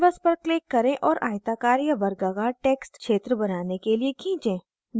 canvas पर click करें और आयताकार या वर्गाकार text क्षेत्र बनाने के लिए खींचें